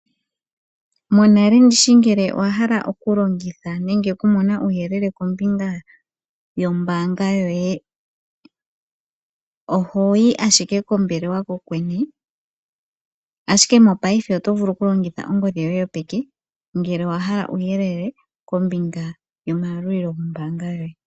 Monale ndishi ngele owa hala oku longitha nenge oku mona uuyelele kombinga yombaanga yoye oho yi ashike kombelewa kokwene, ashike mopaife oto vulu oku longitha ongodhi yoye yopeke ngele owa hala uuyelele kombiga yoma yalulilo gombaanga yoye.